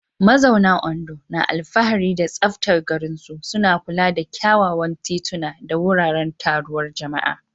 Mazauna Ondo na alfahari da tsaftar garinsu, suna kula da kyawawan tituna da wuraren taruwar jama'a.